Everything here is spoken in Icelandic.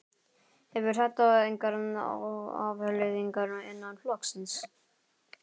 Hefur þetta engar afleiðingar innan flokksins?